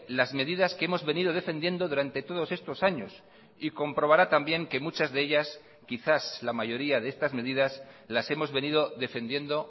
las medidas que hemos venido defendiendo durante todos estos años y comprobará también que muchas de ellas quizás la mayoría de estas medidas las hemos venido defendiendo